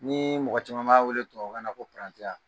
Nii mɔgɔ caman b'a wele tubawu kan na ko parantiya.